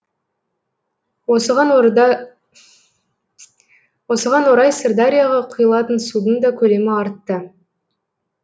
осыған орай сырдарияға құйылатын судың да көлемі артты